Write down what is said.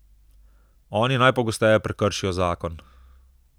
Oni najpogosteje prekršijo zakon.